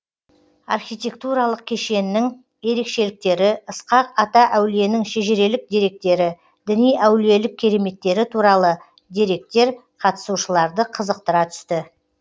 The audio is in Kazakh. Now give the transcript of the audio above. архитектуралық кешеннің ерекшеліктері ысқақ ата әулиенің шежірелік деректері діни әулиелік кереметтері туралы деректер қатысушыларды қызықтыра түсті